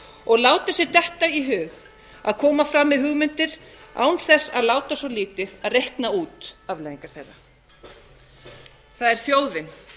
og láta sér detta í hug að koma fram með hugmyndir án þess að láta svo lítið að reikna út afleiðingar þeirra það er þjóðin